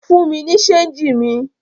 Fún mi ní ṣéńjì mi!